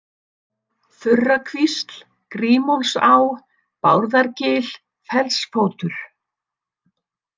Þurrakvísl, Grímólfsá, Bárðargil, Fellsfótur